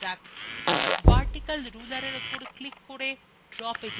vertical rulerএর উপর click করে draw পেজএ টেনে আনুন